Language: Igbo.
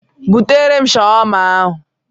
Butere m Shawama ahụ!